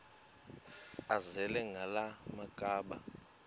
azele ngala makhaba